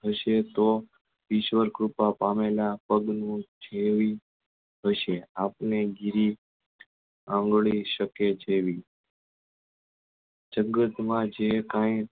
હશે તો ઈશ્વર કૃપા પામેલા પગ નું થેવી હશે આપને જેવી શકે તેવી જગત માં જે કઈ